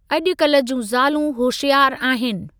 अज॒कल्हु जूं ज़ालूं होशियारु आहिनि।